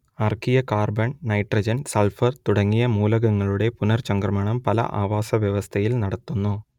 archaea carbon nitrogen sulphur തുടങ്ങിയ മൂലകങ്ങളുടെ പുനർചംക്രമണം പല ആവാസവ്യവസ്ഥയിൽ നടത്തുന്നു